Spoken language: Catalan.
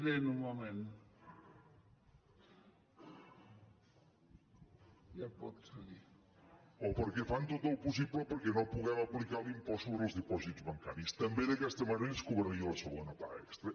o perquè fan tot el possible perquè no puguem aplicar l’impost sobre els dipòsits bancaris també d’aquesta manera es cobraria la segona paga extra